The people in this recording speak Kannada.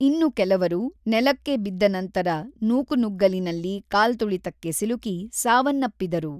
ಇನ್ನು ಕೆಲವರು ನೆಲಕ್ಕೆ ಬಿದ್ದನಂತರ ನೂಕುನುಗ್ಗಲಿನಲ್ಲಿ ಕಾಲ್ತುಳಿತಕ್ಕೆ ಸಿಲುಕಿ ಸಾವನ್ನಪ್ಪಿದರು.